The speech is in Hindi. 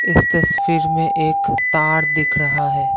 इस तस्वीर में एक तार दिख रहा है।